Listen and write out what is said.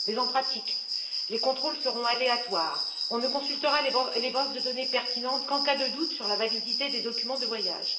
Mais en pratique, les contrôles seront aléatoires, on ne consultera les bases de données pertinentes qu'en cas de doute sur la validité des documents de voyage.